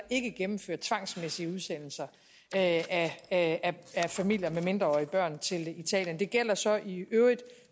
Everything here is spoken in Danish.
ikke gennemført tvangsmæssige udsendelser af familier med mindreårige børn til italien det gælder så i øvrigt